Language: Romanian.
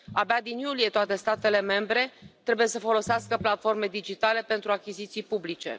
Abia din iulie toate statele membre trebuie să folosească platforme digitale pentru achiziții publice.